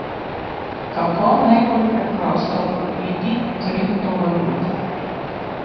Kako najbolj preprosto kupiti kriptovalute?